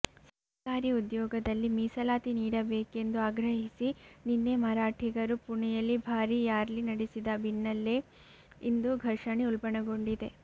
ಸರ್ಕಾರಿ ಉದ್ಯೋಗದಲ್ಲಿ ಮೀಸಲಾತಿ ನೀಡಬೇಕೆಂದು ಆಗ್ರಹಿಸಿ ನಿನ್ನೆ ಮರಾಠಿಗರು ಪುಣೆಯಲ್ಲಿ ಭಾರೀ ರ್ಯಾಲಿ ನಡೆಸಿದ ಬೆನ್ನಲ್ಲೆ ಇಂದು ಘರ್ಷಣೆ ಉಲ್ಬಣಗೊಂಡಿದೆ